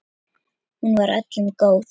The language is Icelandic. Hún var öllum góð.